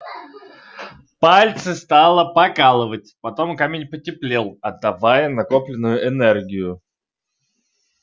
пальцы стало покалывать потом камень потеплел отдавая накопленную энергию